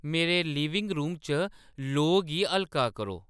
मेरे living room च लोऽ गी हल्का करो